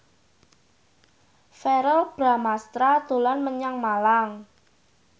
Verrell Bramastra dolan menyang Malang